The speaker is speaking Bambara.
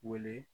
Wele